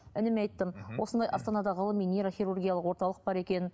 ініме айттым осындай астанада ғылыми нейрохируругиялық орталық бар екен